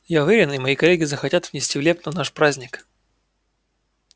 я уверен и мои коллеги захотят внести в лепту в наш праздник